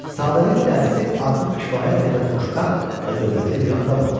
Səadətdil Dərzi artıq kifayət qədər xoşbəxt və dövlətli bir adam olmuşdu.